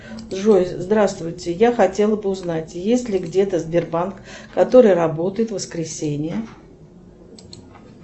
джой здравствуйте я хотела бы узнать есть ли где то сбербанк который работает в воскресенье